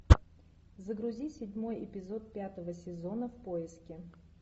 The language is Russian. загрузи седьмой эпизод пятого сезона в поиске